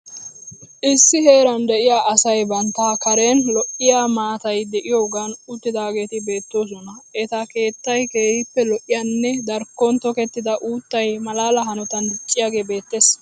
Issi heeran de'iya asay bantta kareen lo'iya maatayi de'iyagaan uttidaageeti beettoosona. Eta keettay keehippe lo'iyanne darikkon tokettida uuttayi malaa hanotan dicciyagee beettees.